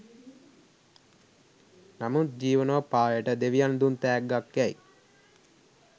නමුත් ජීවනෝපායට දෙවියන් දුන් තෑග්ගක් යැයි